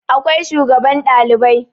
akwai shugaban Ɗalibai